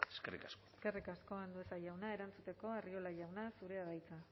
eskerrik asko eskerrik asko andueza jauna erantzuteko arriola jauna zurea da hitza